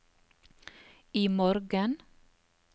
imorgen